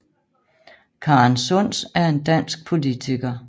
Karen Sunds er en dansk politiker